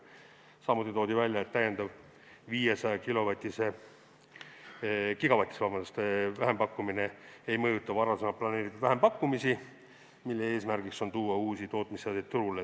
Samuti toodi välja, et täiendav 500-gigavatine vähempakkumine ei mõjuta varem planeeritud vähempakkumisi, mille eesmärk on tuua uusi tootmisseadeid turule.